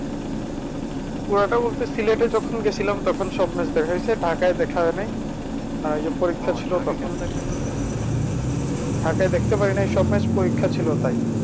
পুরাটা বলতে সিলেটে যখন গেছিলাম তখন সব match দেখা হয়েছে ঢাকায় দেখা হয়নি আর ওই যে পরীক্ষা ছিল তখন দেখা হইলো না ঢাকায় দেখতে পারি নাই সব match পরীক্ষা ছিল তাই।